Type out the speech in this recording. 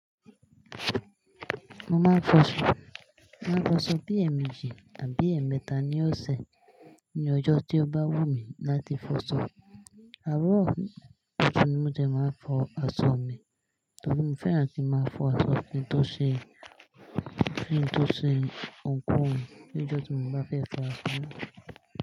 Mo máa ń fọ aṣọ, máa ń fọ aṣọ bí ẹ̀ẹ̀méjì àbí ẹ̀ẹ̀mẹ́ta ni ó ṣẹ̀ ní ọjọ́ tó bá wù mí láti fọ aṣọ. Àárọ̀ ọtún ni mo ti máa ń fọ aṣọ mi, tàbí mo fẹ́ràn kí má fọ aṣọ fún tó ṣe fún tó ṣe òǹkùn nígbà tí mo bá fẹ́ fọ aṣọ mi.